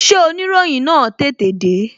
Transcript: Ṣé oniroyin na tètè de?